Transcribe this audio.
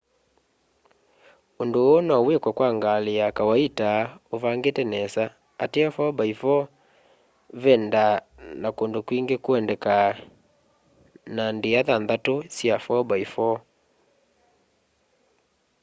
undu uu nowikwe kwa ngali ya kawaita uvangite nesa ateo 4x4 vendaa na kundu kwingi kuendeka na ndia nthanthau sya 4x4